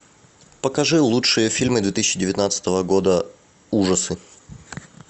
покажи лучшие фильмы две тысячи девятнадцатого года ужасы